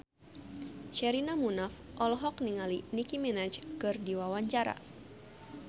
Sherina Munaf olohok ningali Nicky Minaj keur diwawancara